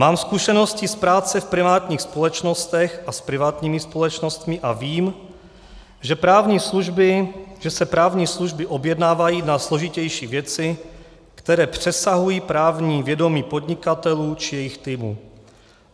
Mám zkušenosti z práce v privátních společnostech a s privátními společnostmi a vím, že se právní služby objednávají na složitější věci, které přesahují právní vědomí podnikatelů či jejich týmů.